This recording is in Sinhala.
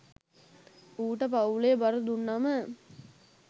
ඌට පවුලේ බර දුන්නම